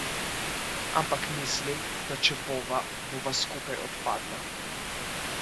Ampak mislim, da če bova, bova skupaj odpadla.